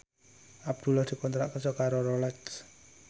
Abdullah dikontrak kerja karo Rolex